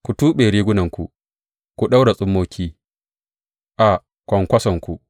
Ku tuɓe rigunanku, ku ɗaura tsummoki a kwankwasonku.